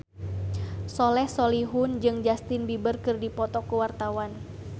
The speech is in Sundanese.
Soleh Solihun jeung Justin Beiber keur dipoto ku wartawan